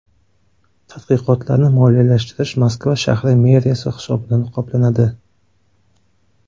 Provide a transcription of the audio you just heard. Tadqiqotlarni moliyalashtirish Moskva shahri meriyasi hisobidan qoplanadi.